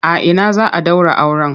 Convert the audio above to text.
A ina za a ɗaura auren?